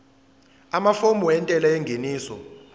amafomu entela yengeniso